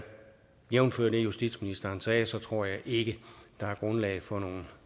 jævnfør det justitsministeren sagde så tror jeg ikke der er grundlag for nogen